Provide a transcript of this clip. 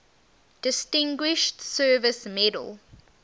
distinguished service medal